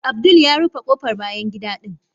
Abdul ya rufe kofar bayan gida din.